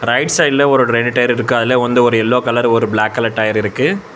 Right சைடுல ஒரு ரெண்டு டயர் இருக்க அதுல வந்து ஒரு எல்லோ கலர் ஒரு பிளாக் கலர் டயர் இருக்கு.